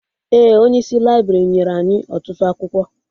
Ee, Onyeisi laibrị nyere anyị ọtụtụ akwụkwọ